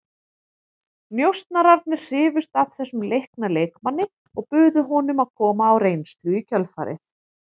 Njósnararnir hrifust af þessum leikna leikmanni og buðu honum að koma á reynslu í kjölfarið.